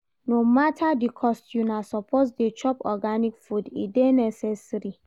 No mata di cost, una suppose dey chop organic food, e dey necessary.